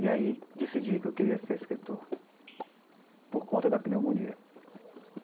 E aí, decidi que eu queria ser escritor, por conta da pneumonia.